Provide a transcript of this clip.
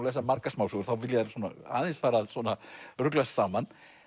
lesa margar smásögur þá vilja þær aðeins fara að ruglast saman